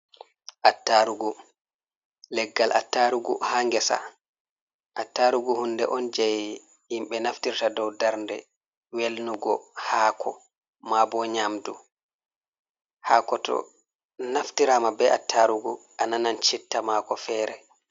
Attarugu, leggal attarugu ha ngesa, attarugu hunde on je himɓe naftirta dow darnde welnugo hako ma bo nyamdu, hako to naftirama be attarugu a nanan citta mako fere.